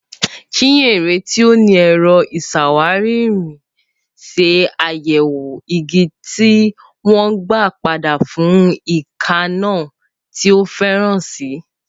Chinyere, tí ó ní ẹ̀rọ ìṣàwárí irin, ṣe àyẹ̀wò igi tí wọ́n gbà padà fún èékánná tí ó farasin.